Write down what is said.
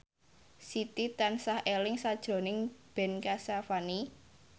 Siti tansah eling sakjroning Ben Kasyafani